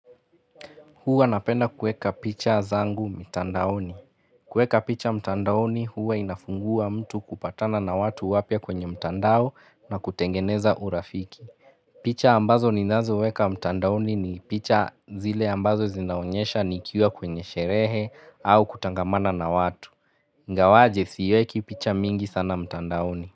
Huwa napenda kueka picha zangu mtandaoni. Kueka picha mtandaoni huwa inafungua mtu kupatana na watu wapya kwenye mtandao na kutengeneza urafiki. Picha ambazo ninazo weka mtandaoni ni picha zile ambazo zinaonyesha nikiwa kwenye sherehe au kutangamana na watu. Ngawaje siweki picha mingi sana mtandaoni.